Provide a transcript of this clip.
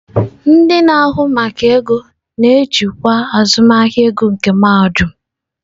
Ndị na-ahụ maka ego na-ejikwa azụmahịa ego nke mahadum.